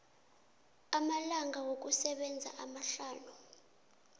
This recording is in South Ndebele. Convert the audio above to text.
amalanga wokusebenza amahlanu